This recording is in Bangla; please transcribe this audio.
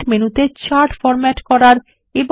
ফরম্যাট মেনুতে চার্ট ফরম্যাট করার